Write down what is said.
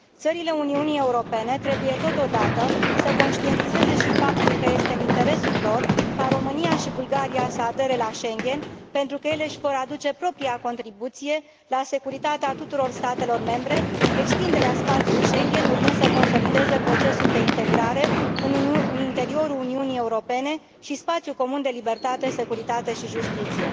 Țările Uniunii Europene trebuie totodată să conștientizeze și faptul că este în interesul lor ca România și Bulgaria să adere la Schengen, pentru că ele își vor aduce propria contribuție la securitatea tuturor statelor membre, extinderea spațiului Schengen urmând să consolideze procesul de integrare în interiorul Uniunii Europene și spațiul comun de libertate, securitate și justiție.